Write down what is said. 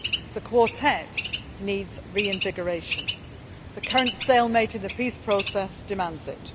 The Quartet needs reinvigoration the current stalemate in the peace process demands